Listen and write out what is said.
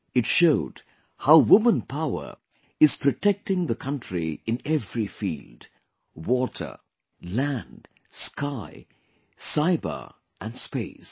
It showed how woman power is protecting the country in every field water, land, sky, cyber and space